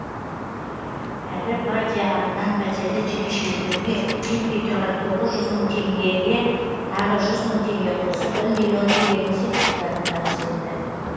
әрі партия атынан пәтерді жекешелендіруге жетпей тұрған тоғыз жүз мың теңгеге тағы жүз мың теңге қосып бір млн теңгенің сертификатын табыс етті